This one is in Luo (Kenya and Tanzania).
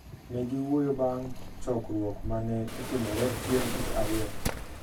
Ne giwuoyo bang’ chokruok ma ne otimore chieng’ tich ariyo.